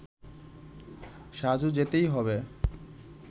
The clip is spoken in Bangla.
সাজু যেতেই হবে